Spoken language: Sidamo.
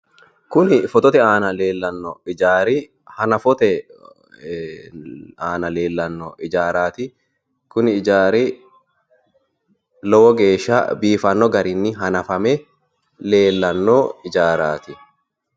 Kuni fotote aana leellanno hijaari hanafote aana leellanno hijaaraati. Kuni hijaari lowo geeshsha biifanno garinni hanafame leellanno hijaaraati.